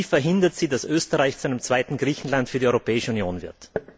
Wie verhindert sie, dass Österreich zu einem zweiten Griechenland für die Europäische Union wird?